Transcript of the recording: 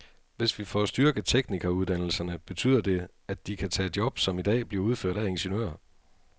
Hvis vi får styrket teknikeruddannelserne, betyder det, at de kan tage job, som i dag bliver udført af ingeniører.